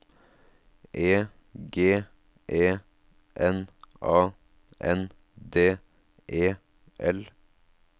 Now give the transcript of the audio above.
E G E N A N D E L